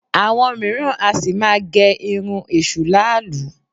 Àwọn mìíràn a sì máa gẹ irun èṣù làálú